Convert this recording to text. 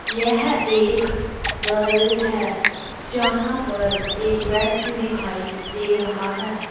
यह एक घर है जहां पर एक व्यक्ति दिखाई दे रहा है।